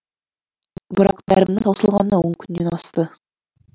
бірақ дәрімнің таусылғанына он күннен асты